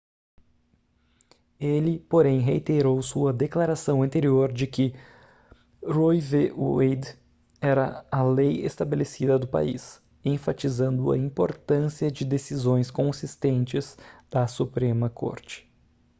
ele porém reiterou sua declaração anterior de que roe v wade era a lei estabelecida do país enfatizando a importância de decisões consistentes da suprema corte